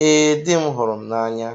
Ee, dị m hụrụ m n'anya.